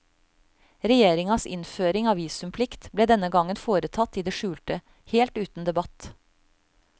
Regjeringas innføring av visumplikt ble denne gangen foretatt i det skjulte, helt uten debatt.